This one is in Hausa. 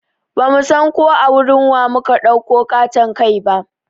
Bamu san ko a wurin wa mu ka ɗauko ƙaton kai ba